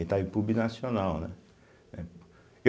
Itaipu Binacional, né eh.